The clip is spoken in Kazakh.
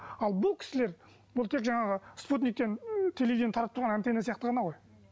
ал бұл кісілер бұл тек жаңағы спутниктен телевидениеден таратып тұрған антенна сияқты ғана ғой